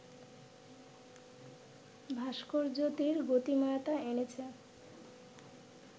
ভাস্কর্যটির গতিময়তা এনেছে